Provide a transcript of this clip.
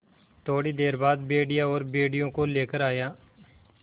थोड़ी देर बाद भेड़िया और भेड़ियों को लेकर आया